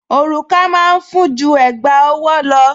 Òrùka máa ń fún ju Ẹ̀gbá ọwọ́ lọ